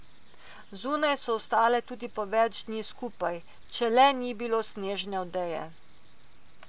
Zunaj so ostale tudi po več dni skupaj, če le ni bilo snežne odeje.